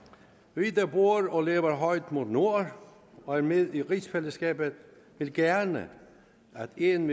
vi der bor og lever højt mod nord og er med i rigsfællesskabet vil gerne at en